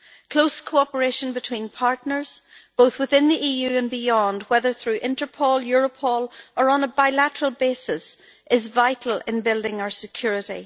Close cooperation between partners, both within the EU and beyond, whether through Interpol, Europol or on a bilateral basis, is vital in building our security.